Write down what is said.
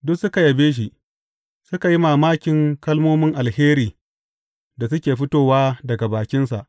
Duk suka yabe shi, suka yi mamakin kalmomin alheri da suke fitowa daga bakinsa.